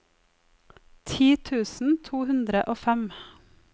ti tusen to hundre og fem